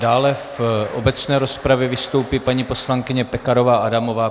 Dále v obecné rozpravě vystoupí paní poslankyně Pekarová Adamová.